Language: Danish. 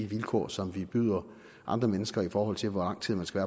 vilkår som vi byder andre mennesker i forhold til hvor lang tid man skal